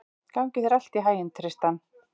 Gangi þér allt í haginn, Tristan.